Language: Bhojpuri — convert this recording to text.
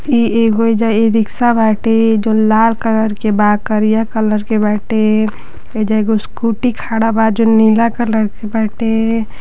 इ एगो एइजा ई-रिक्शा बाटे जोन लाल कलर के बा करिया कलर के बाटे। एइजा एगो स्कूटी खड़ा बा जोन नीला कलर के बाटे।